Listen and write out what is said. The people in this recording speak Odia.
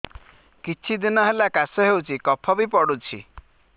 କିଛି ଦିନହେଲା କାଶ ହେଉଛି କଫ ବି ପଡୁଛି